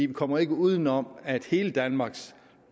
vi kommer ikke uden om at hele danmarks